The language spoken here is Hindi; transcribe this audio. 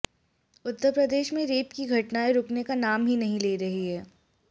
उत्तर प्रदेश में रेप की घटनाएं रूकने का नाम नहीं ले रही हैं